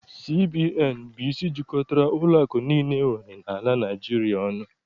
CBN bụ isi jikọtara ụlọakụ niile enwere n'ala Naịjirịa ọnụ.